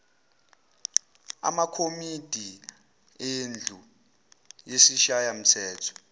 amakomidi endlu yesishayamthetho